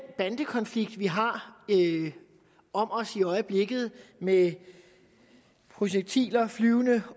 bandekonflikt vi har om os i øjeblikket med projektiler flyvende